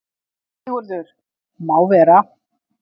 SIGURÐUR: Má vera.